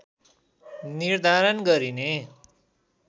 निर्धारण गरिने